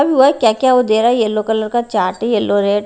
और वह क्या-क्या वो दे रहा है येलो कलर का चार्ट है येलो रेड --